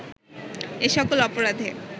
এ সকল অপরাধে